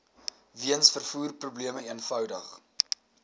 weens vervoerprobleme eenvoudig